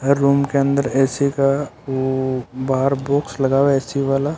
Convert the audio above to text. हर room के अंदर AC का वो बाहर बॉक्स लगा है ए_सी वाला--